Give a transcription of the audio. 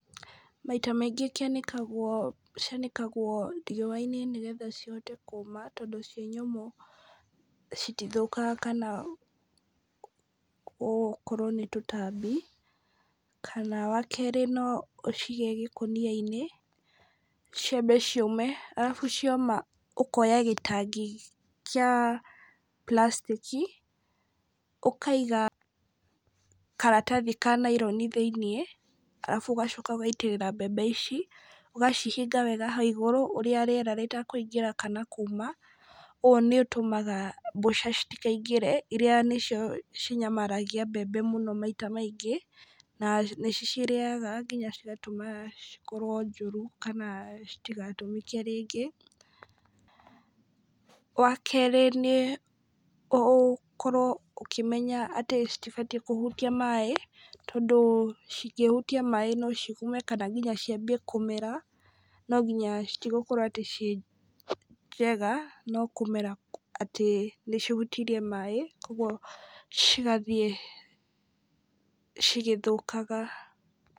Maita maingĩ kĩanĩkagwo, cianĩkagwo riũa-inĩ nĩgetha cihote kũũma, tondũ ciĩ nyũmũ , citithũkaga kana gũkorwo nĩ tũtambi, kana wa kerĩ no ũcige ngĩkũnia-inĩ ciambe ciũme , arabu cioma ũkoya gĩtangi kĩa plastic, ũkaiga karatathi ka nylon thĩiniĩ , arabu ũgacoka ũkaitĩrĩra mbembe ici , ũgacihinga hau igũrũ ũrĩa rĩera rĩtakũingĩra kana kuma, ũũ nĩ ũtũmaga mboca citikaingĩre , iria nĩcio cinyamaragia mbembe mũno maita maingĩ , na nĩ ci cirĩaga nginya cigatũma cikorwo njũru, kana citiga tũmĩke rĩngĩ , wa kerĩ nĩ ũkorwo ũkĩmenya atĩ citibatiĩ kũhutia maaĩ , tondũ cingĩhutia maaĩ no cigume, kana nginya ciambie kũmera, no nginya citigũkorwo atĩ ciĩ njega, no kũmera atĩ nĩcihutirie maaĩ , koguo cigathiĩ cigĩthũkaga.